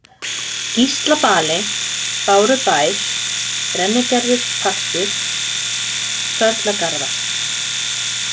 Gíslabali, Bárubær, Brennigerðispartur, Sörlagarðar